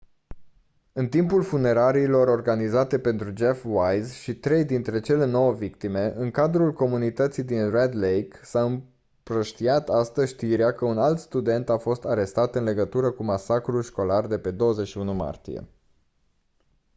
în timpul funeraliilor organizate pentru jeff wise și trei dintre cele nouă victime în cadrul comunității din red lake s-a împrăștiat astăzi știrea că un alt student a fost arestat în legătură cu masacrul școlar de pe 21 martie